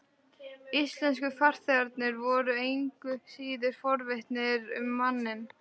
Íslensku farþegarnir voru engu síður forvitnir um manninn.